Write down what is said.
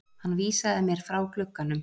Hann vísaði mér frá glugganum.